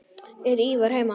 Er Ívar heima?